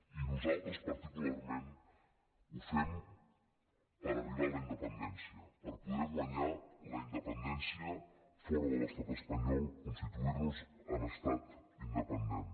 i nosaltres particularment ho fem per arribar a la independència per poder guanyar la independència fora de l’estat espanyol constituir nos en estat independent